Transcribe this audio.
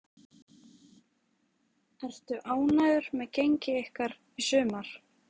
Ertu ánægður með gengi ykkar í sumar?